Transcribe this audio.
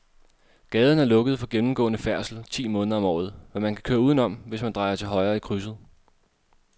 Gaden er lukket for gennemgående færdsel ti måneder om året, men man kan køre udenom, hvis man drejer til højre i krydset.